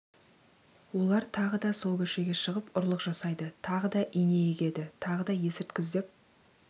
олар тағы да сол көшеге шығып ұрлық жасайды тағы да ине егеді тағы да есірткі іздеп